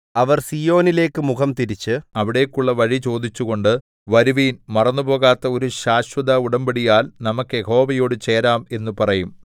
അവർ സീയോനിലേക്കു മുഖംതിരിച്ച് അവിടേയ്ക്കുള്ള വഴി ചോദിച്ചുകൊണ്ട് വരുവിൻ മറന്നുപോകാത്ത ഒരു ശാശ്വത ഉടമ്പടിയാൽ നമുക്ക് യഹോവയോടു ചേരാം എന്ന് പറയും